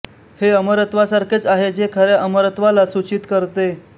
हे अमरत्वासारखेच आहे जे खऱ्या अमरत्वाला सूचित करते